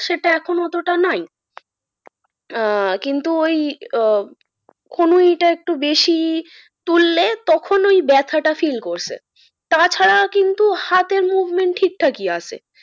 সেটা এখন অতটা নাই। আহ কিন্তু ওই আহ কনুইটা একটু বেশি তুললে তখন ওই ব্যাথাটা feel করছে। তাছাড়া কিন্তু হাতের movement ঠিকঠাকই আছে।